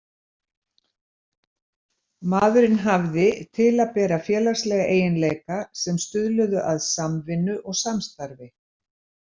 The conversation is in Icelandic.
Maðurinn hafði til að bera félagslega eiginleika sem stuðluðu að samvinnu og samstarfi.